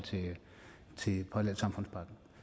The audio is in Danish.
til parallelsamfundspakken